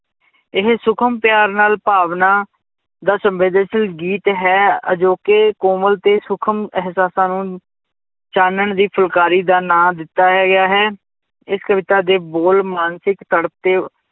ਇਹ ਸੂਖਮ ਪਿਆਰ ਨਾਲ ਭਾਵਨਾ ਦਾ ਸੰਵੇਦਨਸ਼ੀਲ ਗੀਤ ਹੈ, ਅਜੋਕੇ ਕੋਮਲ ਤੇ ਸੂਖਮ ਅਹਿਸਾਸਾਂ ਨੂੰ ਚਾਨਣ ਦੀ ਫੁਲਕਾਰੀ ਦਾ ਨਾਂ ਦਿੱਤਾ ਗਿਆ ਹੈ, ਇਸ ਕਵਿਤਾ ਦੇ ਬੋਲ ਮਾਨਸਿਕ ਤੜਪ ਤੇ